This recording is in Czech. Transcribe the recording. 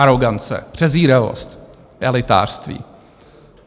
Arogance, přezíravost, elitářství.